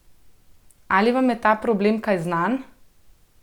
Ali vam je ta problem kaj znan?